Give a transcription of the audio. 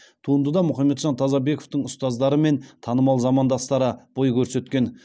туындыда мұхамеджан тазабековтың ұстаздары мен танымал замандастары бой көрсеткен